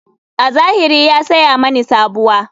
A zahiri ya saya mini sabuwa.